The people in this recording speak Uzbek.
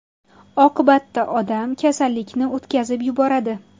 Oqibatda odam kasallikni o‘tkazib yuboradi.